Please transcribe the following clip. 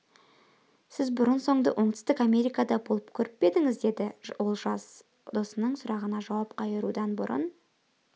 сіз бұрын-соңды оңтүстік америкада болып көрмеп пе едіңіз деді ол жас досының сұрағына жауап қайырудан бұрын